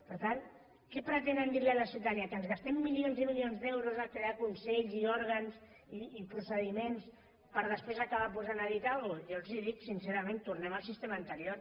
per tant què pretenen dir a la ciutadania que no ens gastem milions i milions d’euros a crear consells i òrgans i procediments per després acabar posant a dit algú jo els ho dic sincerament tornem al sistema anterior